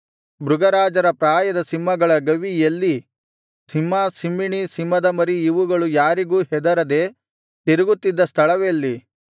ಮೃಗರಾಜರ ಪ್ರಾಯದ ಸಿಂಹಗಳ ಗವಿ ಎಲ್ಲಿ ಸಿಂಹ ಸಿಂಹಿಣಿ ಸಿಂಹದ ಮರಿ ಇವುಗಳು ಯಾರಿಗೂ ಹೆದರದೆ ತಿರುಗುತ್ತಿದ್ದ ಸ್ಥಳವೆಲ್ಲಿ